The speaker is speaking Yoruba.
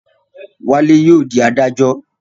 Wálé yóò dí adájọ́